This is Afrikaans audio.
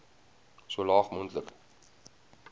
so laag moontlik